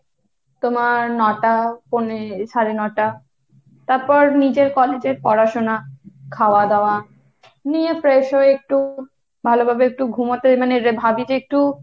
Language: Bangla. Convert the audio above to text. তোমার ন'টা পৌনে সাড়ে ন'টা, তারপর নিজের college এর পড়াশোনা, খাওয়া দাওয়া, নিয়ে fresh হয়ে একটু ভালোভাবে একটু ঘুমোতে মানে ভাবি যে একটু,